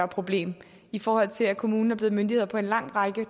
problem i forhold til at kommunen er blevet myndighed på en lang række